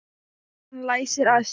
Og hann læsir að sér.